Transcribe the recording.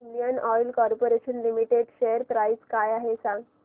Indian oil corporation limited share price काय आहे सांगा